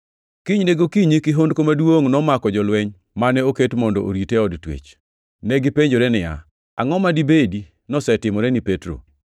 Kinyne gokinyi kihondko maduongʼ nomako jolweny mane oket mondo orite e od twech. Negipenjore niya, “Angʼo ma dibed nosetimore ni Petro?”